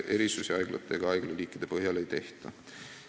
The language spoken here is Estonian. Erisusi haiglate ega haiglaliikide põhjal ei tehta.